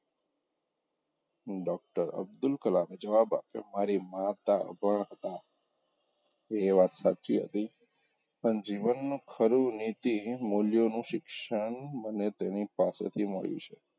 doctor Abdul કલામએ જવાબ આપ્યો મારી માતા અભણ હતા એ વાત સાચી હતી પણ જીવનમાં ખરી નીતિ મુલ્યોનું શિક્ષણ મને તેની પાસેથી મળ્યું છે.